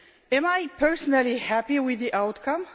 Am I personally happy with the outcome?